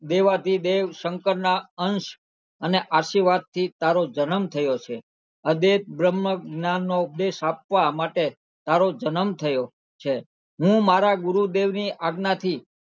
દેવાધિદેવ શંકર ના અંશ અને આશીર્વાદ થી તારો જનમ થયો છે અદેવ બ્રહ્મજ્ઞાન નો ઉપદેશ આપવા માટે તારો જનમ થયો છે હું મારા ગુરુદેવ ની આજ્ઞા થી